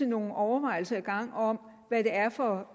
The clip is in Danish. nogle overvejelser i gang om hvad det er for